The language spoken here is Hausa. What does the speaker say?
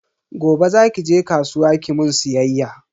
Gobe zaki je kasuwa kimun siyayya.